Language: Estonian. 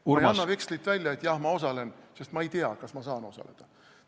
Ma ei anna vekslit välja, et jah, ma osalen, sest ma ei tea, kas ma saan osaleda.